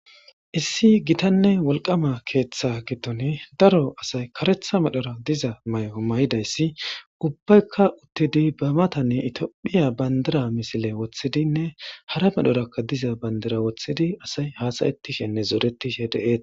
issi gitanne wolqaama keeththa giddoni daro asay karetha medhora diza maayo may'idayssi ubbaykka uttidi bamatanne itiophiya bandira misile wothidinne hara medhorakka diza bandira wothidi asay haasayetishenne zoretishe de'ettes.